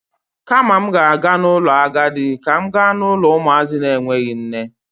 Kama m ga-aga n'ụlọ agadi, ka m ga n'ụlọ ụmụazị na-enweghi nne.